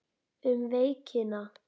Um veikina